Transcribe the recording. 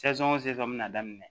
bɛna daminɛ